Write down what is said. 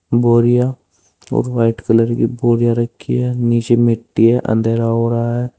बोरिया और white colour की बोरिया रखी है नीचे मिट्टी है अंधेरा हो रहा है।